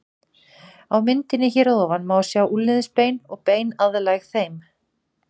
Á myndinni hér að ofan má sjá úlnliðsbein og bein aðlæg þeim.